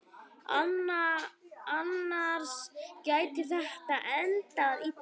Annars gæti þetta endað illa.